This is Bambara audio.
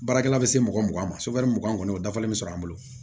Baarakɛla bɛ se mɔgɔ mugan ma mugan kɔni o dafalen bɛ sɔrɔ an bolo